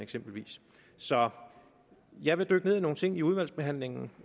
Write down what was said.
så jeg vil dykke ned i nogle ting i udvalgsbehandlingen